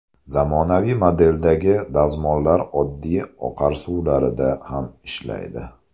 Zamonaviy modeldagi dazmollar oddiy oqar suvlarida ham ishlaydi.